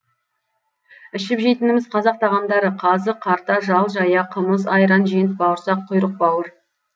ішіп жейтініміз қазақ тағамдары қазы қарта жал жая қымыз айран жент бауырсақ құйрық бауыр